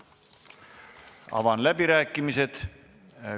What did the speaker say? Avan läbirääkimised.